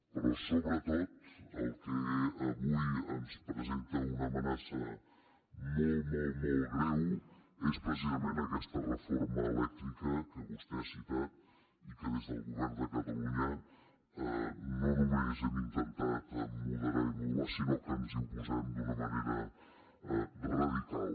però sobretot el que avui ens presenta una amenaça molt molt molt greu és precisament aquesta reforma elèctrica que vostè ha citat i que des del govern de catalunya no només hem intentat moderar i modular sinó que ens hi oposem d’una manera radical